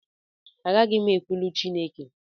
Agaghị m ekwulu Chịneke